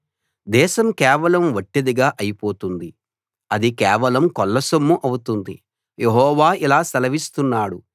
దేశం కేవలం వట్టిదిగా అయి పోతుంది అది కేవలం కొల్లసొమ్ము అవుతుంది యెహోవా ఇలా సెలవిస్తున్నాడు